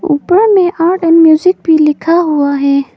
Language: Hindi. ऊपर में आर्ट और म्यूजिक भी लिखा हुआ है।